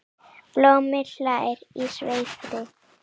Blómi hlær í sverði.